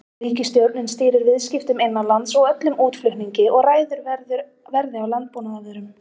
Ríkisstjórnin stýrir viðskiptum innanlands og öllum útflutningi og ræður verði á landbúnaðarvörum.